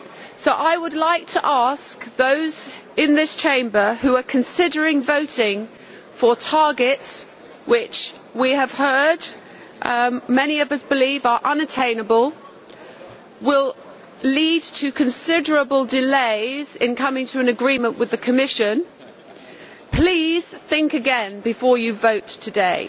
So I would like to ask those in this Chamber who are considering voting for targets which, we have heard, many of us believe are unattainable and will lead to considerable delays in coming to an agreement with the Commission, to please think again before they vote today.